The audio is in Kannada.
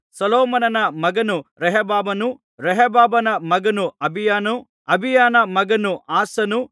ಸೊಲೊಮೋನನ ಮಗನು ರೆಹಬ್ಬಾಮನು ರೆಹಬ್ಬಾಮನ ಮಗನು ಅಬೀಯನು ಅಬೀಯನ ಮಗನು ಆಸನು